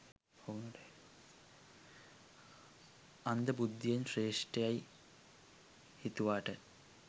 අන්ධ බුද්ධියෙන් ශ්‍රේෂ්ඨ යයි හිතුවට